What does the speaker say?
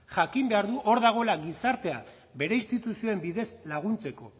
jakin behar du hor dagoela gizarteak bere instituzioen bidez laguntzeko